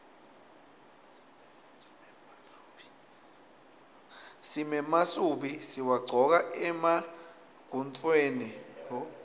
simemasubi siwagcoka emagontfweni